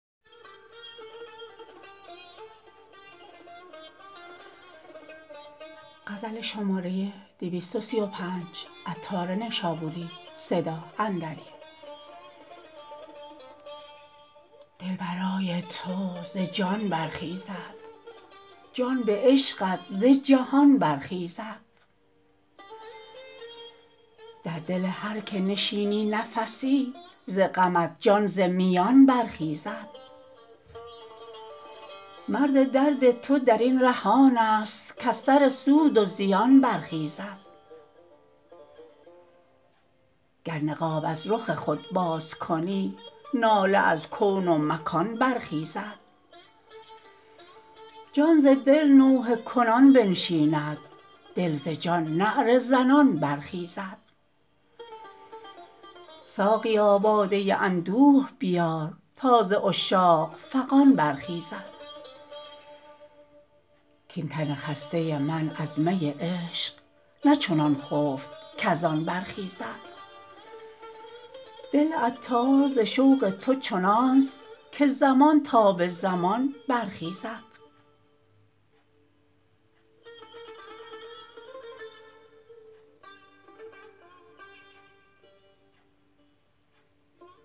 دل برای تو ز جان برخیزد جان به عشقت ز جهان برخیزد در دل هر که نشینی نفسی ز غمت جان ز میان برخیزد مرد درد تو درین ره آن است کز سر سود و زیان برخیزد گر نقاب از رخ خود باز کنی ناله از کون و مکان برخیزد جان ز دل نوحه کنان بنشیند دل ز جان نعره زنان برخیزد ساقیا باده اندوه بیار تا ز عشاق فغان برخیزد کین تن خسته من از می عشق نه چنان خفت کزان برخیزد دل عطار ز شوق تو چنانست که زمان تا به زمان برخیزد